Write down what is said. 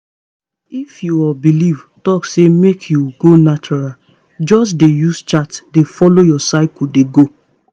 if your belief talk say make you go natural just dey use chart dey follow your cycle dey go